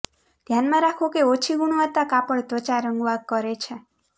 ધ્યાનમાં રાખો કે ઓછી ગુણવત્તા કાપડ ત્વચા રંગવા કરે છે